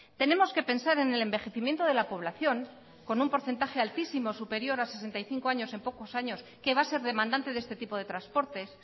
tenemos que pensar en el envejecimiento de la población con un porcentaje altísimo superior a sesenta y cinco en pocos años que va a ser demandante de este tipo de transportes